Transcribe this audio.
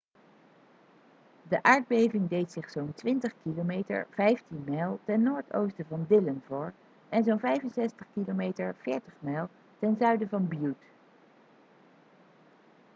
de aardbeving deed zich zo'n 20 km 15 mijl ten noord-noordoosten van dillon voor en zo'n 65 km 40 mijl ten zuiden van butte